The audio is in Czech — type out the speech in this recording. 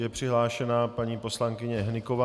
Je přihlášena paní poslankyně Hnyková.